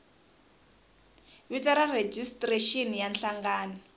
vito ra rejistrexini ya nhlangano